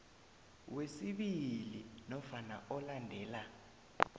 wesibili nofana olandela